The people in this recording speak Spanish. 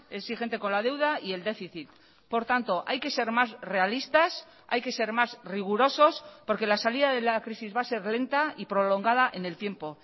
exigente con la deuda y el déficit por tanto hay que ser más realistas hay que ser más rigurosos porque la salida de la crisis va a ser lenta y prolongada en el tiempo